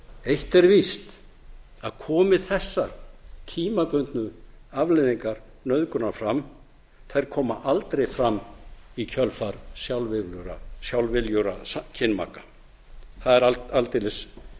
eitt er víst að komi þessar tímabundnu afleiðingar nauðgunar fram þær koma aldrei fram í kjölfar sjálfviljugra kynmaka það er aldeilis